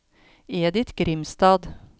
Edith Grimstad